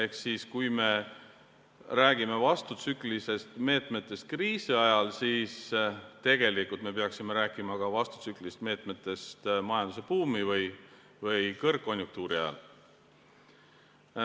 Ehk kui me räägime vastutsüklilistest meetmetest kriisi ajal, siis tegelikult me peaksime rääkima ka vastutsüklilistest meetmetest majandusbuumi või kõrgkonjunktuuri ajal.